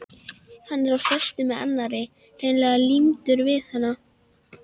Hann var á föstu með annarri, hreinlega límdur við hana.